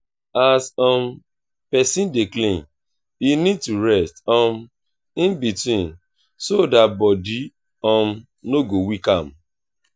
as um person dey clean e need to rest um in between so that body um no go weak am